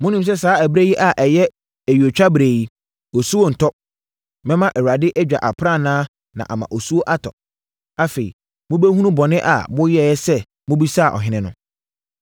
Monim sɛ saa ɛberɛ yi a ɛyɛ ayuotwaberɛ yi, osuo nntɔ. Mɛma Awurade adwa aprannaa na ama osuo atɔ. Afei mobɛhunu bɔne a moyɛeɛ sɛ mobisaa ɔhene no.”